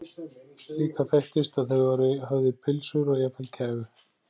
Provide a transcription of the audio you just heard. Líka þekktist að þau væru höfð í pylsur og jafnvel kæfu.